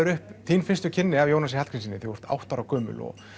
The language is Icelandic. upp þín fyrstu kynni af Jónasi Hallgrímssyni þegar þú átta ára gömul og